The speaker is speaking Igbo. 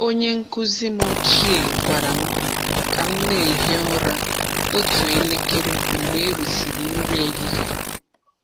Onye nkụzi m ochie gwara m ka m na-ehi ụra otu elekere mgbe erisịrị nri ehihie.